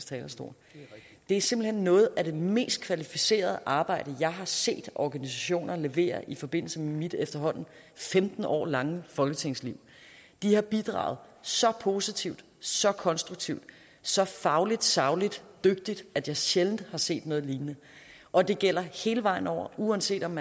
talerstol det er simpelt hen noget af det mest kvalificerede arbejde jeg har set organisationer levere i forbindelse med mit efterhånden femten år lange folketingsliv de har bidraget så positivt så konstruktivt så fagligt sagligt og dygtigt at jeg sjældent har set noget lignende og det gælder hele vejen rundt uanset om